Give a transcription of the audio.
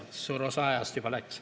Jaa, suur osa ajast juba läks.